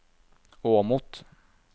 Åmot